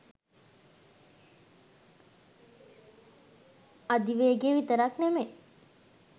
අධි වේගෙ විතරක් නෙමේ